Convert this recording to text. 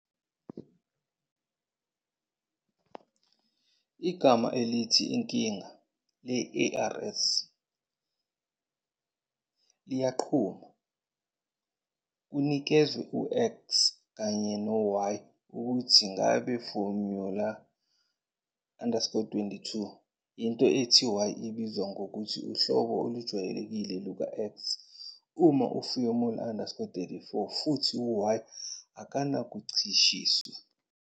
Igama elithi inkinga le-ARS liyanquma, kunikezwe u- "x" kanye no- "y", ukuthi ngabe formula_32. Into ethi "y" ibizwa ngokuthi "uhlobo olujwayelekile luka- "x" " uma formula_34, futhi "y" akanakuncishiswa.